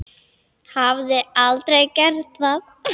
Hafði aldrei gert það.